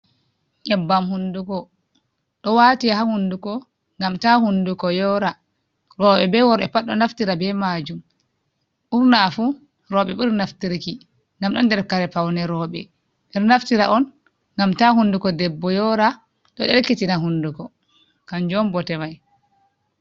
Nyeɓɓam hunduko ɗo wate ha hunduko ngam ta hunduko yora, roɓɓe be worɓɓe pat ɗo naftira be majum, ɓurna fu roɓɓe ɓuri naftirki ngam ɗo nder kare paune, roɓɓe ɓeɗo naftira on ngam ta hunduko debbo yora, ɗo ɗelkitina hunduko kanjum bote mai.